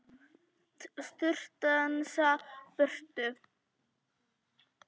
Strunsa burtu.